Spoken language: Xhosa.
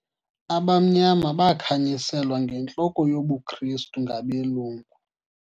Abamnyama bakhanyiselwa ngentloko yobuKrestu ngabelungu.